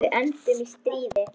Við enduðum í stríði.